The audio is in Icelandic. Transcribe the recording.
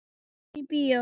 Förum í bíó.